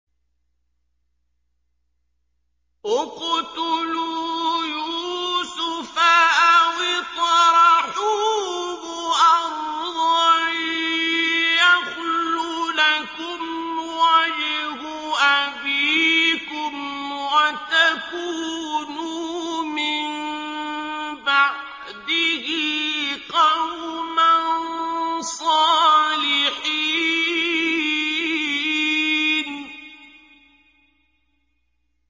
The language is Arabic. اقْتُلُوا يُوسُفَ أَوِ اطْرَحُوهُ أَرْضًا يَخْلُ لَكُمْ وَجْهُ أَبِيكُمْ وَتَكُونُوا مِن بَعْدِهِ قَوْمًا صَالِحِينَ